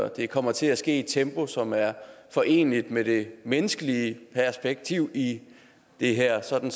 det kommer til at ske i et tempo som er foreneligt med det menneskelige perspektiv i det her sådan